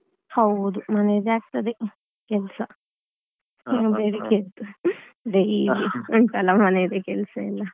ಹೌದು ಮನೆಯದ್ದೇ ಆಗ್ತದೆ ಕೆಲ್ಸ ಬೆಳಿಗ್ಗೆ ಎದ್ದು daily ಒಂದ್ಸಲ ಮನೆಯದ್ದೇ ಕೆಲ್ಸ ಎಲ್ಲಾ.